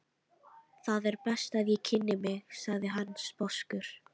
Það er best að ég kynni mig, sagði hann sposkur.